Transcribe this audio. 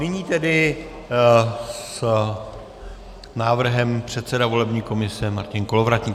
Nyní tedy s návrhem předseda volební komise Martin Kolovratník.